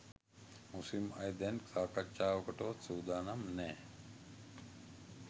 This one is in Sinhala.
මුස්ලිම් අය දැන් සාකච්ඡාවකටවත් සූදානම් නෑ.